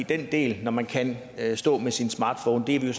den del hvor man kan kan stå med sin smartphone er vi jo